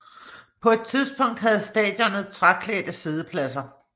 På det tidspunkt havde stadionet træklædte siddepladser